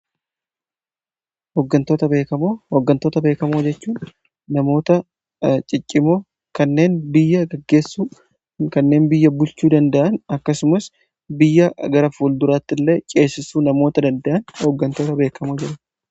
Hooggantoota beekamoo jechuu namoota ciccimoo kanneen biyya gaggeessu kanneen biyya bulchuu danda'an akkasumas biyya gara ful duraatti illee ceessisuu namoota danda'an hooggantoota beekamoo jedhamu.